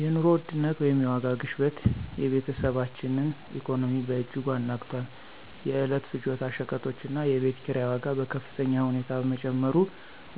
የኑሮ ውድነት (የዋጋ ግሽበት) የቤተሰባችንን ኢኮኖሚ በእጅጉ አናግቷል። የዕለት ፍጆታ ሸቀጦችና የቤት ኪራይ ዋጋ በከፍተኛ ሁኔታ በመጨመሩ